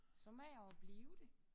Så må jeg jo blive det